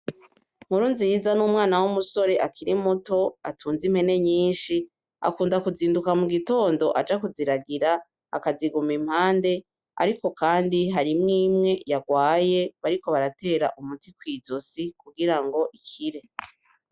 Nkurunziza numwana wumusore akiri muto atunze impene nyinshi akunda kuzinduka mugitondo aja kuziragira akaziguma impande, ariko kandi harimwo imwe yarwaye bariko baratera umuti kwizosi kugirango ikire.